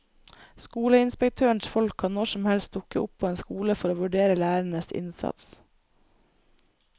Skoleinspektørens folk kan når som helst dukke opp på en skole for å vurdere lærerenes innsats.